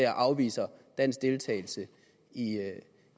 afviser dansk deltagelse i